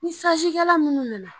Ni kɛla munnu nana.